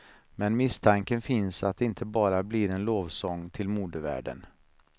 Men misstanken finns att det inte bara blir en lovsång till modevärlden.